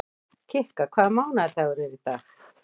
Kikka, hvaða mánaðardagur er í dag?